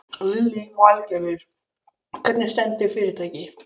Lillý Valgerður: Hvernig stendur fyrirtækið?